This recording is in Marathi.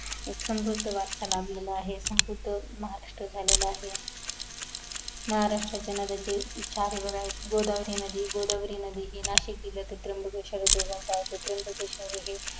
एक समृद्ध वारसा लाभलेला आहे समृद्ध महाराष्ट्र झालेला आहे महाराष्ट्रच्या नद्या जे उछारेवर आहेत गोदावरी नदी गोदावरी नदी नाशिक जिल्ह्यातील त्राबकेश्वर उगम स्थान आहे त्राबकेश्वर हे